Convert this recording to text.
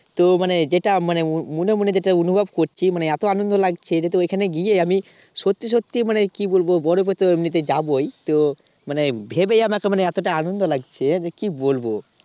তো মানে যেটা মানে মনে মনে যেটা অনুভব করছি মানে এত আনন্দ লাগছে যে ওখানে গিয়ে আমি সত্যি সত্যি মানে কি বলবো বরফেতে এমনিতেই যাবোই তো মানে ভেবেই আমার এত এতটা আনন্দ লাগছে যে কি বলবো